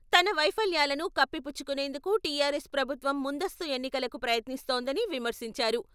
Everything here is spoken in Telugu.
తన వైఫల్యాలను కప్పిపుచ్చుకునేందుకే టీఆర్ఎస్ ప్రభుత్వం ముందస్తు ఎన్నికలకు ప్రయత్నిస్తోందని విమర్శించారు.